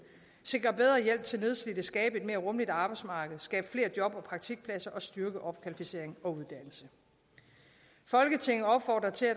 sikre bedre hjælp til nedslidte skabe et mere rummeligt arbejdsmarked skabe flere job og praktikpladser og styrke opkvalificering og uddannelse folketinget opfordrer til at